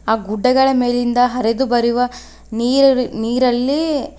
ಆ ಗುಡ್ಡಗಳ ಮೇಲಿಂದ ಹರಿದುಬರುವ ನೀರರ ನೀರಲ್ಲಿ--